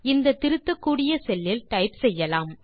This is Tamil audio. இந்த திருத்தக்கூடிய செல்லில் டைப் செய்யலாம்